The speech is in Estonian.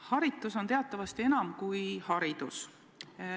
Haritus on teatavasti midagi enamat kui haridus.